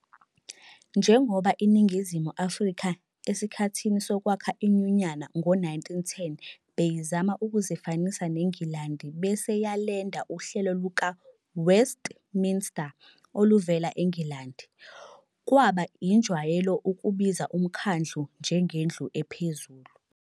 Njengoba iNingizimu Afrika esikhathini sokwakha iNyunyana ngo-1910 beyizama ukuzifanisa neNgilandi bese yalenda uhlelo luka-"Westminster" oluvela eNgilandi, kwaba injwayelo ukubiza uMkhandlu njengendlu ephezulu.